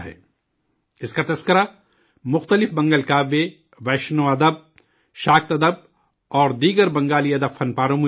اس کا ذکر مختلف منگل کاویہ، ویشنو ساہتیہ، شاک ادب اور دیگر بنگالی ادبی تخلیقات میں ملتا ہے